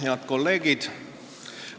Head kolleegid!